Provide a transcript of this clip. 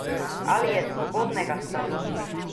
Ali je svobodnega stanu?